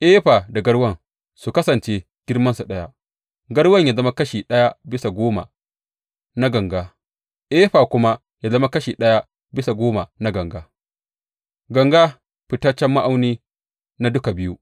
Efa da garwan su kasance girmansu ɗaya, garwan ya zama kashi ɗaya bisa goma na ganga efa kuma ya zama kashi ɗaya bisa goma na ganga; ganga fitaccen ma’auni na duka biyu.